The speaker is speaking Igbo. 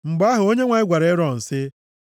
Mgbe ahụ, Onyenwe anyị gwara Erọn sị,